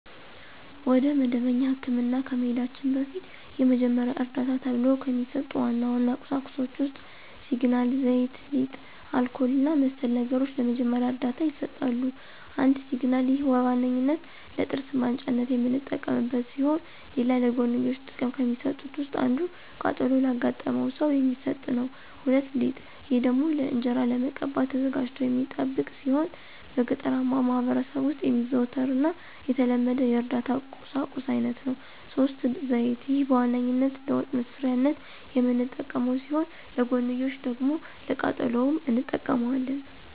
ወደ መደበኛ ህክምና ከመሂዳችን በፊት የመጀመሪያ ዕርዳታ ተብሎው ከሚሰጡ ዋና ዋና ቁሳቁሶች ውስጥ ሲግናል፣ ዘይት፣ ሊጥ፣ አልኮል እና መሰል ነገሮች ለመጀመሪያ ዕርዳታ ይሰጣሉ። ፩) ሲግናል፦ ይህ በዋነኛነት ለጥርስ ማንጫነት የምንጠቀምበት ሲሆን ሌላ ለጎንዮሽ ጥቅም ከሚሰጡት ውስጥ አንዱ ቃጠሎ ላጋጠመው ሰው የሚሰጥ ነው። ፪) ሊጥ፦ ይህ ደግሞ ለእንጅራ ለመቀባት ተዘጋጅቶ የሚጠብቅ ሲሆን በገጠራማው ማህበረሰብ በጣም የሚዘወተር እና የተለመደ የእርዳታ ቁሳቁስ አይነት ነው። ፫) ዘይት፦ ይህ በዋነኛነት ለወጥ መስሪያነት የምንጠቀመው ሲሆን ለጎንዮሽ ደግሞ ለቃጠሎም እንጠቀመዋለን።